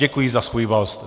Děkuji za svůj vost (?).